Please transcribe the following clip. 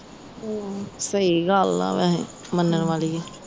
ਸਹੀ ਗੱਲ ਆ ਵੇਹੇ ਮੰਨਣ ਵਾਲੀ ਵੀ